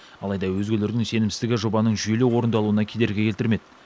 алайда өзгелердің сенімсіздігі жобаның жүйелі орындалуына кедергі келтірмеді